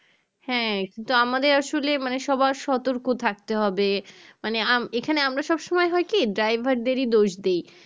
হ্যাঁ কিন্তু আমাদের আসলে মানে সবার সতর্ক থাকতে হবে মানে আম এখানে আমরা সবসময় হয়কি driver দেরি দোষ দিই